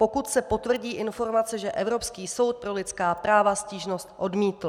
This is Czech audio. Pokud se potvrdí informace, že Evropský soud pro lidská práva stížnost odmítl.